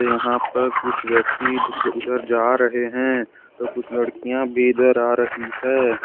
यहां पर कुछ व्यक्ति उधर जा रहे हैं तो कुछ लड़कियां भी इधर आ रही है।